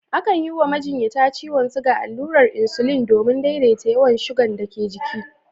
Akan yi wa majinyata ciwon shuga allurar insulin domin daidaita yawan shugan dake jiki